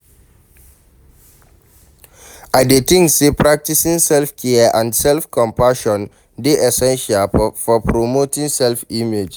I dey think say practicing self-care and self-compassion dey essential for promoting positive self-image.